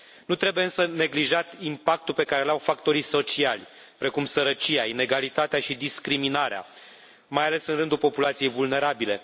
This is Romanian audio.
Nu trebuie însă neglijat impactul pe care îl au factorii sociali precum sărăcia, inegalitatea și discriminarea, mai ales în rândul populației vulnerabile.